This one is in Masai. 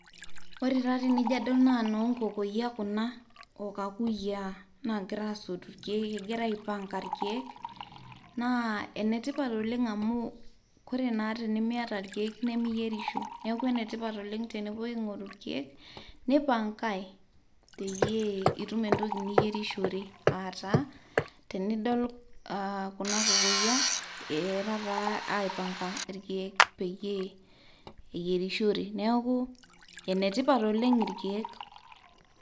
Ore taa tenijo adol naa inoo nkokoyia kuna o kakuyiaa naagira aasotu ilkeek, egira aipanga ilkeek naa enetipat oleng amu ore taa tenimiata ilkeek, nemiyierisho. Neaku enetipat oleng tenepuo aing'oru ilkeek, neipankai peyie itum entoki niyierishore. Aataa tenidol aa kuna kokoyia egira taa aipanga kulo keek peyie eyierishore. Neaku enetipat oleng ilkeek.